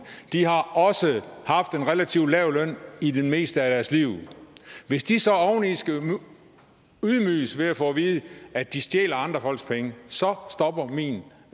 de har også haft en relativt lav løn i det meste af liv hvis de så oveni skal ydmyges ved at få at vide at de stjæler andre folks penge så stopper min